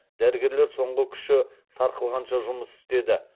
дәрігерлер соңғы күші сарқылғанша жұмыс істеді